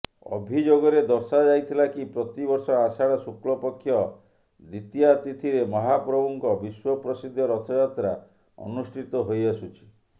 ଅଭିଯୋଗରେ ଦର୍ଶାଯାଇଥିଲା କି ପ୍ରତି ବର୍ଷ ଆଷାଢ଼ ଶୁକ୍ଳପକ୍ଷ ଦ୍ବିତୀୟା ତିଥିରେ ମହାପ୍ରଭୁଙ୍କ ବିଶ୍ବପ୍ରସିଦ୍ଧ ରଥଯାତ୍ରା ଅନୁଷ୍ଠିତ ହୋଇଆସୁଛି